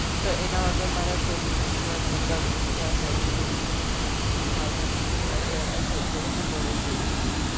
તો એના વગર મારે કોઈ બી festival મતલબ કયા જાઉં હોય ફાવતું નથી, કારણ કે અમે જો જઈ એ તો જોડેજ જઈએ છીએ.